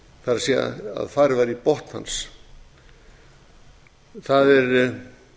það er farið var í botn hans það eru